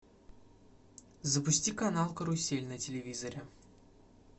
запусти канал карусель на телевизоре